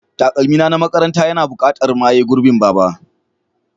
Takalmi na makaranta yana buƙatar maye gurbin Baba.